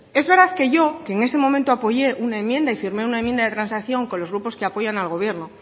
es verdad que yo en ese momento apoyé una enmienda y firmé una enmienda de transacción con los grupos que apoyan al gobierno